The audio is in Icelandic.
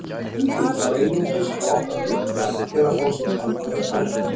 Stundum þarf einungis að opna glugga eða fá sér kaldari sæng.